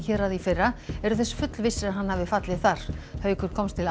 héraði í fyrra eru þess fullvissir að hann hafi fallið þar haukur komst til